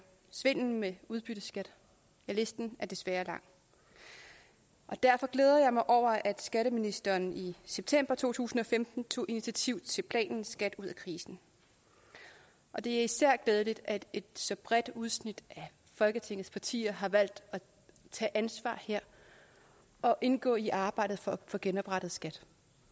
svindel med udbytteskat ja listen er desværre lang derfor glæder jeg mig over at skatteministeren i september to tusind og femten tog initiativ til planen skat ud af krisen og det er især glædeligt at et så bredt udsnit af folketingets partier har valgt at tage ansvar her og indgå i arbejdet for at få genoprettet skat